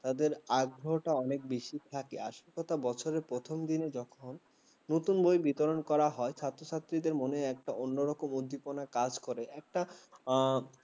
তাদের আগ্রহটা অনেক বেশি থাকে আজ কথা বছরে প্রথম দিনে নতুন বই বিতরণ করা হয় ছাত্রছাত্রীদের মনে একটা অন্যরকম উদ্দীপনা কাজ করে একটা উম